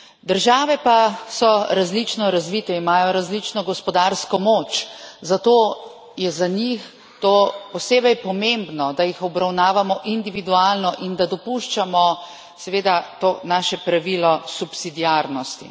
Države pa so različno razvite, imajo različno gospodarsko moč, zato je za njih to posebej pomembno, da jih obravnavamo individualno in da dopuščamo seveda to naše pravilo subsidiarnosti.